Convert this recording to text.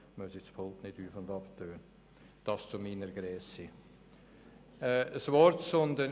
Es klingt, als würde es sich dabei um eine Bibel handeln.